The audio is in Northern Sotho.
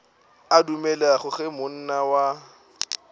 a dumelago ge monna wa